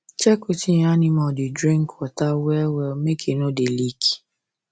check wetin ur animal da drink water well well make e no da leak